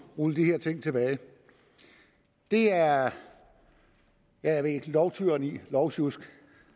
rulle de her ting tilbage det er lovtyranni lovsjusk